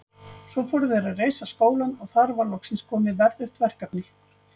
Svo fóru þeir að reisa skólann og þar var loksins komið verðugt verkefni.